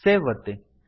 save ಒತ್ತಿ